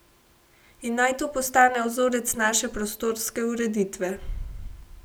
In naj to postane vzorec naše prostorske ureditve.